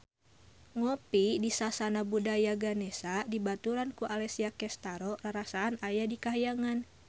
Ngopi di Sasana Budaya Ganesha dibaturan ku Alessia Cestaro rarasaan aya di kahyangan